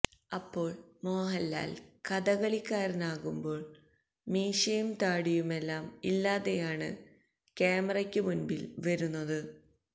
അപ്പോള് മോഹന്ലാല് കഥകളിക്കാരനാകുമ്പോള് മീശയും താടിയുമെല്ലാം ഇല്ലാതെയാണ് ക്യാമറയ്ക്കു മുന്പില് വരുന്നത്